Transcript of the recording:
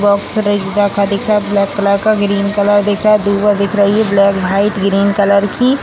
Box दिख रहा है ब्लैक कलर का ग्रीन कलर दिख रहा ब्लैक वाइट ग्रीन कलर की।